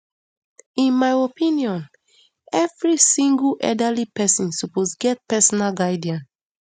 in my opinion every single elderly pesin suppose get personal guardian